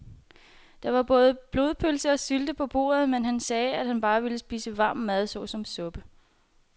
Der var både blodpølse og sylte på bordet, men han sagde, at han bare ville spise varm mad såsom suppe.